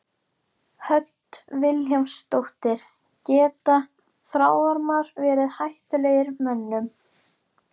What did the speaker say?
Hödd Vilhjálmsdóttir: Geta þráðormar verið hættulegir mönnum?